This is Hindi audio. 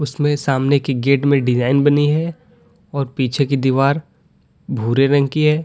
इसमें सामने की गेट में डिजाइन बनी है और पीछे की दीवार भूरे रंग की है।